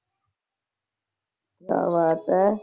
ਕਿਆ ਬਾਤ ਹੈ।